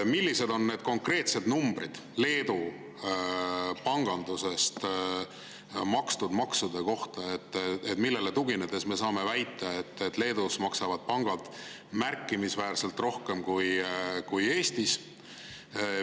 Millised on need konkreetsed numbrid Leedu panganduse makstud maksude kohta, millele tuginedes me saame väita, et Leedus maksavad pangad märkimisväärselt rohkem kui Eestis?